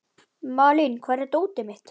Malín, hvar er dótið mitt?